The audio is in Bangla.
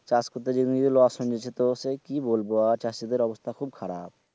চাষ করতে গিয়ে loss হুং যেচে তো সে কি বুলবো আর চাষী দের অবস্থা খুব